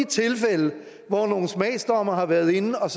tilfælde hvor nogle smagsdommere har været inde og